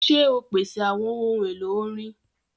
Ṣe o pese awọn ohun elo orin!?